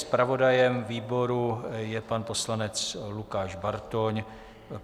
Zpravodajem výboru je pan poslanec Lukáš Bartoň.